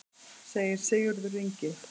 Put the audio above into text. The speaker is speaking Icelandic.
Segir Sigurður Ingi.